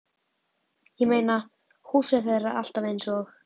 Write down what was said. Ég meina, húsið þeirra er alltaf eins og